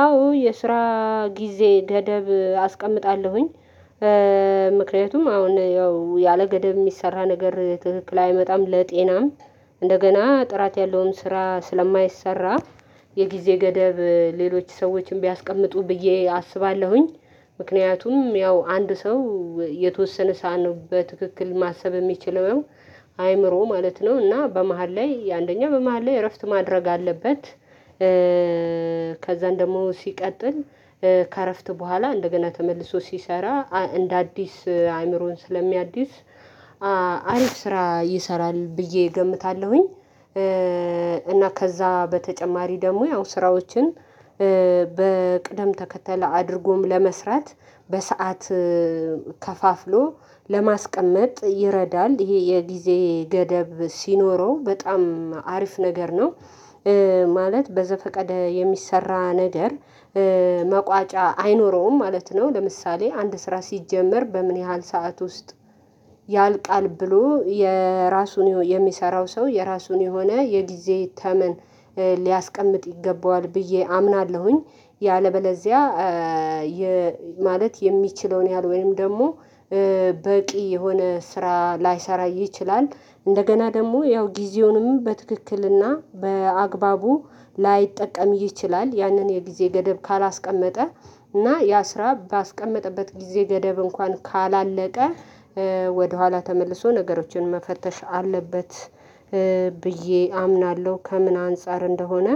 አዎ የስራ ጊዜ ገደብ አስቀምጣለሁኝ። ምክንያቱም አሁን ያው ያለገደብ የሚሰራ ነገር ትክክል አይመጣም ለጤናም እንደገና ጥራት ያለውን ስራ ስለማይሰራ። የጊዜ ገደብ ሌሎች ሰዎችን ቢያስቀምጡ ብዬ አስባለሁኝ። ምክንያቱም ያው አንድ ሰው የተወሰነ ሳኖበት በትክክል ማሰብ የሚችለው አይምሮ ማለት ነው። እና በመሃል ላይ አንደኛ በመሃል ላይ እረፍት ማድረግ አለበት። ከዛን ደግሞ ሲቀጥል ከእረፍት በኋላ እንደገና ተመልሶ ሲሰራ እንደ አዲስ አእምሮን ስለሚያድስ። አሪፍ ስራ ይሰራል ብዬ እገምታለሁኝ። እና ከዛ በተጨማሪ ደግሞ ያው ስራዎችን በቅደም ተከተል አድርጎም ለመስራት በሰአት ከፋፍሎ ለማስቀመጥ ይረዳል ይሄ የጊዜ ገደብ ሲኖረው በጣም አሪፍ ነገር ነው። ማለት በዘፈቀደ የሚሰራ ነገር መቋጫ አይኖረውም ማለት ነው። ለምሳሌ አንድ ስራ ሲጀመር በምን ያህል ሰዓት ውስጥ ያልቃል ብሎ የራሱን የሚሰራው ሰው የራሱን የሆነ የጊዜ ተመን ሊያስቀምጥ ይገባዋል ብዬ አምናለሁኝ። ያለበለዚያ ማለት የሚችለውን ያህል ወይም ደግሞ በቂ የሆነ ስራ ላይሰራ ይችላል። እንደገና ደግሞ ያው ጊዜውንም በትክክልና በአግባቡ ላይጠቀም ይችላል። ያንን የጊዜ ገደብ ካላስቀመጠ እና ያ ስራ ባስቀመጠበት ጊዜ ገደብ እንኳን ካላለቀ ወደኋላ ተመልሶ ነገሮችን መፈተሽ አለበት። ብዬ አምናለሁ ከምን አንፃር እንደሆነ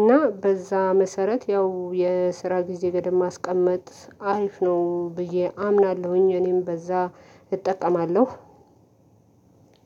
እና በዛ መሰረት ያው የስራ ጊዜ ገደብ ማስቀመጥ አሪፍ ነው ብዬ አምናለሁኝ። እኔም በዛ እጠቀማለሁ።